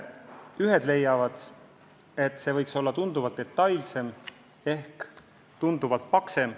Ühed leiavad, et eelarve võiks olla tunduvalt detailsem ehk tunduvalt paksem.